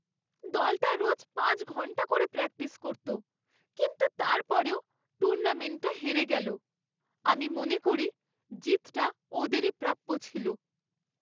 দলটা রোজ পাঁচ ঘন্টা করে প্র্যাকটিস করত, কিন্তু তারপরেও টুর্নামেন্টটা হেরে গেল। আমি মনে করি জিতটা ওদেরই প্রাপ্য ছিল।